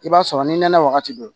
I b'a sɔrɔ ni nɛnɛ wagati don